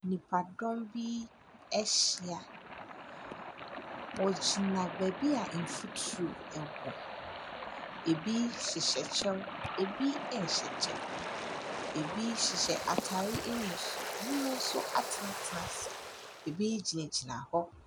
Nnipadɔm bi ahyia. Wɔgyina baabi a mfuturo wɔ. Ebi hyehyɛ kyɛw, ebi nhyɛ kyɛw. Ebi hyehyɛ atare nguso, ebinom nso atenatena ase. Ebi gyinagyina hɔ.